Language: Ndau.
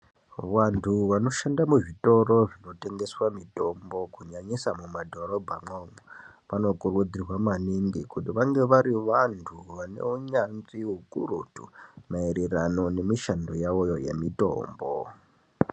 Wandu wanoshanda muzvitoro zvinotengeswa mitombo kunyanyisa mumadhorobha umwomwo, wanokurudzirwa maningi kuti wange wari wandu wane unyanzvi ukurutu maererano nemishando yawoyo yemitombo.